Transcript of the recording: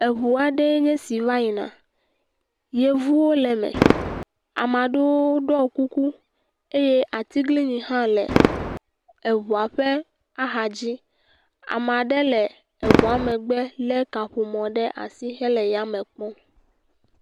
Eŋu aɖee nye esi va yina, yevuwo le me, ame aɖewo ɖɔ kuku eye atiglinyi hã le eŋua ƒe axadzi, ame ɖe le eŋua megbe lé kaƒomɔ ɖe asi hele ya me kpɔm.